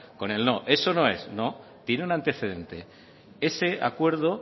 con el no eso no es no tiene un antecedente ese acuerdo